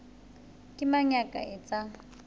ke mang ya ka etsang